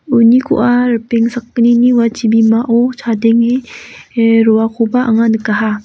unikoa ripeng sakgnini ua chibimao chadenge ah roakoba anga nikaha.